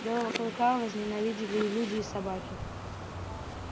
белого клыка возненавидели и люди и собаки